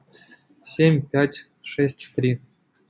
семь пять шесть три